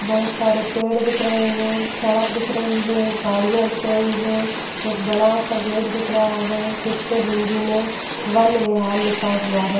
बहोत सारे पेड़ दिख रहे हैं सड़क दिख रही है गाड़ियां दिख रही है एक बड़ा सा गेट दिख रहा है जिस पर हिंदी में वन वेहाल लिखा हुआ है।